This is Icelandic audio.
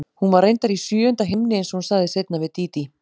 Hún var reyndar í sjöunda himni einsog hún sagði seinna við Dídí.